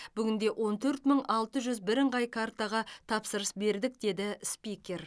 бүгінде он төрт мың алты жүз бірыңғай картаға тапсырыс бердік деді спикер